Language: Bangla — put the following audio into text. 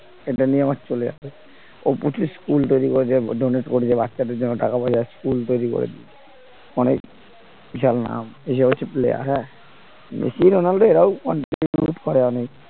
সেটা নিয়ে আমার চলে যাবে, ও প্রচুর school তৈরি করেছে donate করেছে বাচ্চাদের জন্য টাকা পয়সা school তৈরি করেছে। অনেক বিশাল নাম এসব হচ্ছে player হ্যাঁ মেসি রোনাল্ডো এরাও অনেক contribute করে অনেক